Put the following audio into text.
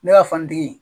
Ne ka fanitigi